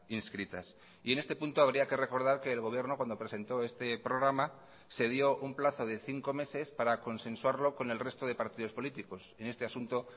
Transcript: inscritas y en este punto habría que recordar que el gobierno cuando presentó este programa se dio un plazo de cinco meses para consensuarlo con el resto de partidos políticos en este asunto